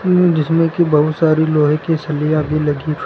जिसमें की बहुत सारी लोहे की सलियां भी लगी हुई--